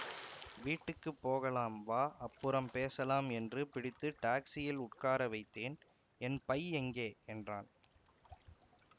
வீட்டுக்கு போகலாம் வா அப்புறம் பேசலாம் என்று பிடித்து டாக்சியில் உட்கார வைத்தேன் என் பை எங்கே என்றான்